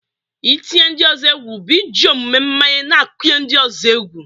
Ị tinye ndị ọzọ egwu bụ iji omume mmanye na-akụnye ndị ọzọ egwu.